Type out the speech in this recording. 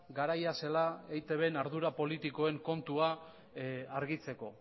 garaia zela eitbren ardura politikoen kontua argitzeko